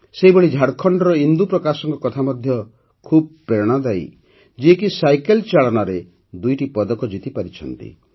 ସେହିଭଳି ଝାଡ଼ଖଣ୍ଡର ଇନ୍ଦୁପ୍ରକାଶଙ୍କ କଥା ମଧ୍ୟ ଖୁବ୍ ପ୍ରେରଣାଦାୟୀ ଯିଏକି ସାଇକେଲ ଚାଳନାରେ ଦୁଇଟି ପଦକ ଜିତିପାରିଛନ୍ତି